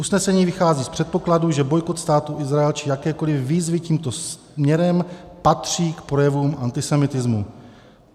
Usnesení vychází z předpokladu, že bojkot Státu Izrael či jakékoli výzvy tímto směrem patří k projevům antisemitismu.